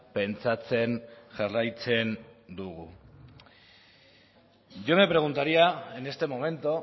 pentsatzen jarraitzen dugu yo me preguntaría en este momento